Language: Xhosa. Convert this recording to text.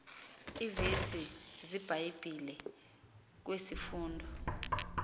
iivesi zebhayibhile kwisifundo